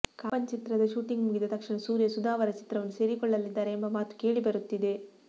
ಕಾಪನ್ ಚಿತ್ರದ ಶೂಟಿಂಗ್ ಮುಗಿದ ತಕ್ಷಣ ಸೂರ್ಯ ಸುಧಾ ಅವರ ಚಿತ್ರವನ್ನು ಸೇರಿಕೊಳ್ಳಲಿದ್ದಾರೆ ಎಂಬ ಮಾತು ಕೇಳಿ ಬರುತ್ತಿದೆ